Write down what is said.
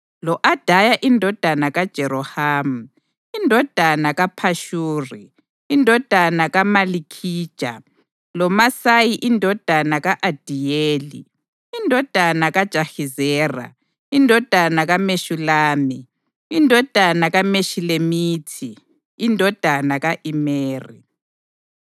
lo-Adaya indodana kaJerohamu, indodana kaPhashuri, indodana kaMalikhija; loMasayi indodana ka-Adiyeli, indodana kaJahizera, indodana kaMeshulami, indodana kaMeshilemithi, indodana ka-Imeri.